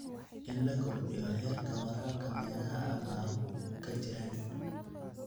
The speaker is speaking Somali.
In la kordhiyo heerka waraabka meelaha abaaruhu ka jiraan.